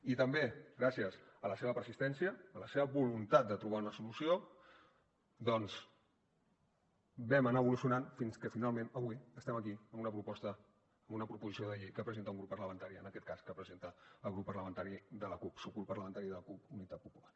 i també gràcies a la seva persistència a la seva voluntat de trobar una solució doncs vam anar evolucionant fins que finalment avui estem aquí amb una proposta amb una proposició de llei que presenta un grup parlamentari en aquest cas que presenta el grup parlamentari de la cup subgrup parlamentari de la cup unitat popular